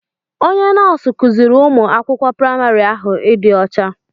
Onye nọọsụ kuziri ụmụ akwụkwọ praịmarị ahụ ịdị ọcha.